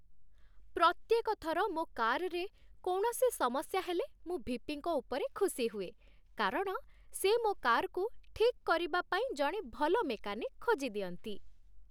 ପ୍ରତ୍ୟେକ ଥର ମୋ କାର୍‌ରେ କୌଣସି ସମସ୍ୟା ହେଲେ, ମୁଁ ଭି.ପି.ଙ୍କ ଉପରେ ଖୁସି ହୁଏ କାରଣ ସେ ମୋ କାର୍କୁ ଠିକ୍ କରିବା ପାଇଁ ଜଣେ ଭଲ ମେକାନିକ୍ ଖୋଜିଦିଅନ୍ତି।